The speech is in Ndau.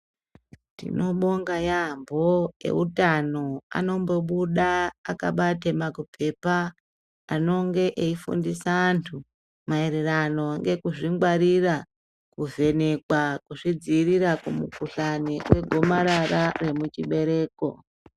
Tinobonga yaambo eutano anombobuda akabate makupepa anonga eifundisa antu mayererano ngekuzvingwarira kuvhenekwa kuzvidziirira kumikuhlani kwegomarara rechibereko .